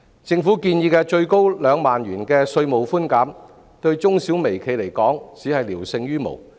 政府建議的最高2萬元稅務寬減，對中小微企而言只是聊勝於無。